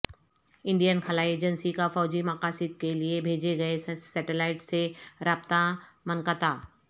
Indian خلائی ایجنسی کا فوجی مقاصد کے لیے بھیجے گئے سیٹیلائٹ سے رابطہ منقطع